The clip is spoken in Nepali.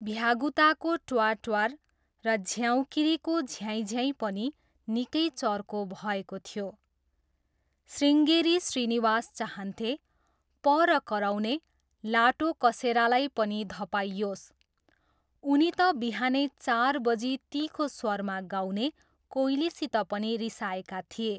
भ्यागुताको ट्वार्ट्वार र झ्याउँकिरीको झ्याइँझयाइँ पनि निकै चर्को भएको थियो। शृङ्गेरी श्रीनिवास चाहन्थे, पर कराउने लाटोकसेरालाई पनि धपाइयोस्। उनी त बिहानै चार बजी तिखो स्वरमा गाउने कोइलीसित पनि रिसाएका थिए।